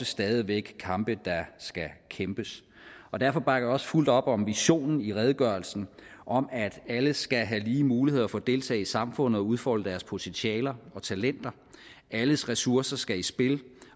stadig væk kampe der skal kæmpes og derfor bakker jeg også fuldt op om visionen i redegørelsen om at alle skal have lige muligheder for at deltage i samfundet og udfolde deres potentialer og talenter at alles ressourcer skal i spil